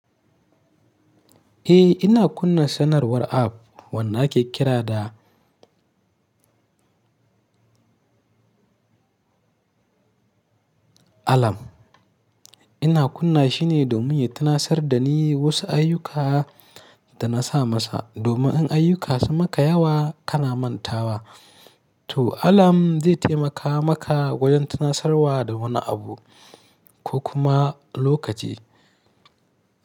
Eh ina kunna sanarwar app wanda ake kira da alarm. Ina kunna shi ne domin ya tunasar da ni wasu ayyuka da na sa masa. Domin in ayyuka sun maka yawa kana mantawa. To alarm zai taimaka maka wajen tunasarwa da wani abu ko kuma lokaci.